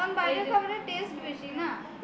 কারণ বাইরের খাবারের test বেশি না